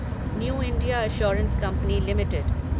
new India assurance company limited